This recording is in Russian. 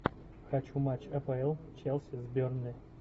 хочу матч апл челси с бернли